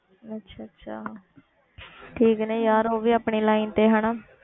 ਅੱਛਾ ਅੱਛਾ ਠੀਕ ਨੇ ਯਾਰ ਉਹ ਵੀ ਆਪਣੀ line ਤੇ ਹਨਾ।